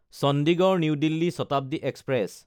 Chandigarh New Delhi Shatabdi express